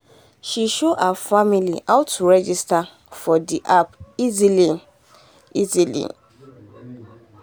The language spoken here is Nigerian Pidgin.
after she check price finish she come see say discount mart get better price for house things.